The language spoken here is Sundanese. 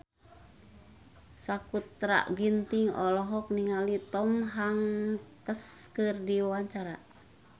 Sakutra Ginting olohok ningali Tom Hanks keur diwawancara